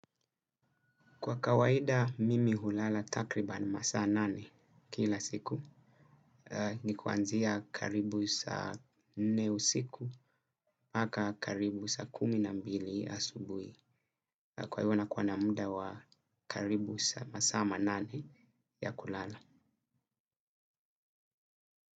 Kwa kawaida, mimi hulala takriba ni masaa nane kila siku. Ni kuanzia karibu sa nne usiku, maka karibu sa kumi na mbili asubui. Kwa hivyo na kuwa na muda wa karibu sa masaa manane ya kulala.